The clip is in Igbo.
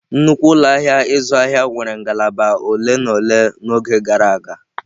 Nnukwu ụlọ ahịa ịzụ ahịa nwere ngalaba ole na ole n'oge gara aga.